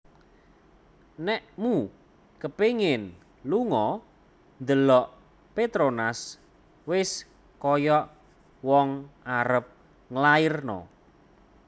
Nekmu kepingin lungo ndelok Petronas wes koyok wong arep nglairno